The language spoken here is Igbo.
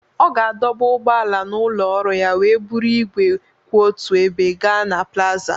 Ọ ga-adọba ụgbọala n'ụlọ ọrụ ya wee buru igwe kwụ otu ebe gaa na plaza